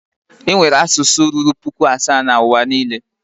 Enwere asụsụ ruru puku asaa na N'uwa niile.